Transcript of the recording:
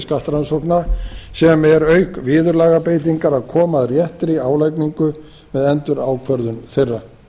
skattrannsókna sem eru auk viðurlagabreytingar að koma á réttri álagningu við endurákvörðun þeirra